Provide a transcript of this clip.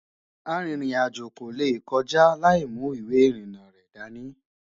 àrin rìn àjò kò lè kọjá laimu ìwé irina rẹ̀ dání